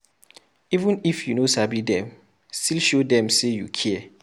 Even if you no sabi dem, still show dem sey you care.